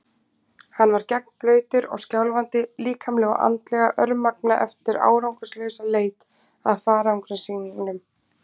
Hann var gegnblautur og skjálfandi, líkamlega og andlega örmagna eftir árangurslausa leit að farangri sínum.